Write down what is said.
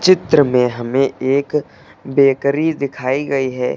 चित्र में हमें एक बेकरी दिखाई गई है।